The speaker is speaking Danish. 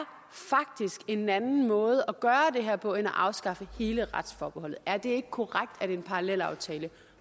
en anden måde at gøre det her på end at afskaffe hele retsforbeholdet er det ikke korrekt at en parallelaftale